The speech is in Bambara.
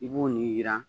I b'o ni yira